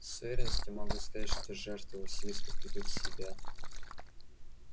с уверенностью могу сказать что жертвы василиска придут в себя